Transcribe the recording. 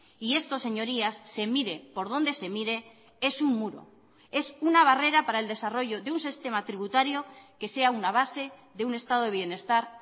y esto señorías se mire por donde se mire es un muro es una barrera para el desarrollo de un sistema tributario que sea una base de un estado de bienestar